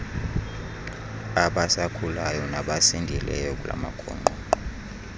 abasakhulayo nabasasindileyo kulamagongqongqo